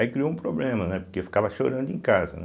Aí criou um problema, né, porque eu ficava chorando em casa, né.